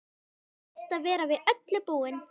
Best að vera við öllu búinn!